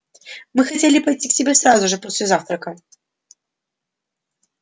мы хотели пойти к тебе сразу же после завтрака